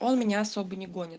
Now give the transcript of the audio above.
он меня особо не гонит